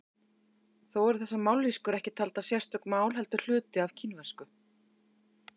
Þó eru þessar mállýskur ekki taldar sérstök mál heldur hluti af kínversku.